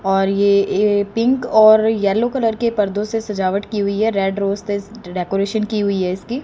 और ये ये पिंक और येलो कलर के पर्दों से सजावट की हुई है रेड रोज़ ते डेकोरेशन की हुई है इसकी।